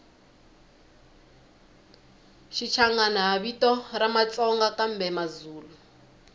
shichangani hhavito ramatsonga kambemazulu